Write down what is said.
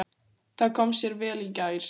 Það kom sér vel í gær.